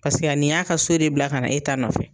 nin y'a ka so de bila ka na e ta nɔfɛ.